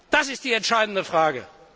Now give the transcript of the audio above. Das sind die entscheidenden Fragen.